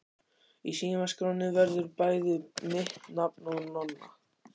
Í símaskránni verður bæði mitt nafn og Nonna.